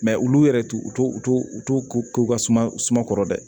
Mɛ olu yɛrɛ t'u u t'u k'u ka suma kɔrɔ dɛ